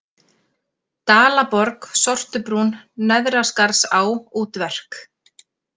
Dalaborg, Sortubrún, Neðraskarðsá, Útverk